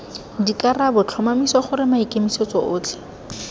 dikarabo tlhomamisa gore maikemisetso otlhe